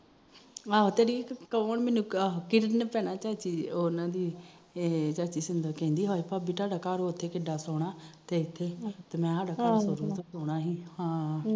ਆਹੋ ਕੋਣ ਚਾਚੀ ਸ਼ਿੰਦਾ ਕਹਿੰਦੀ ਹਾਏ ਥਾਡਾ ਘਰ ਉਥੇ ਕਿਡਾ ਸੋਹਣਾ ਤੇ ਮੈ